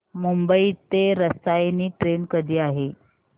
मुंबई ते रसायनी ट्रेन कधी आहे